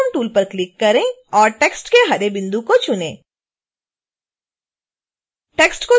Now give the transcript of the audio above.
transform tool पर click करें और टेक्स्ट के हरे बिंदु को चुनें